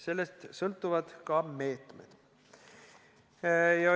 Sellest sõltuvad ka meetmed.